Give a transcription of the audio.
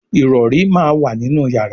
Ìrọ̀rí món wá nínú yàrá